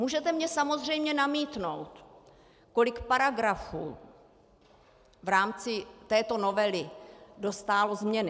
Můžete mně samozřejmě namítnout, kolik paragrafů v rámci této novely dostálo změny.